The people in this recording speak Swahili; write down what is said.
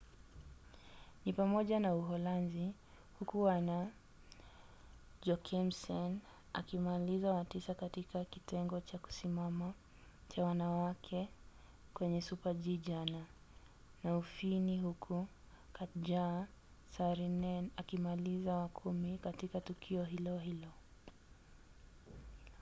ni pamoja na uholanzi huku anna jochemsen akimaliza wa tisa katika kitengo cha kusimama cha wanawake kwenye super-g jana na ufini huku katja saarinen akimaliza wa kumi katika tukio hilo hilo